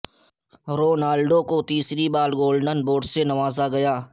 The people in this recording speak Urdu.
رونالدو کو تیسری بار گولڈن بوٹ سے نوازا گیا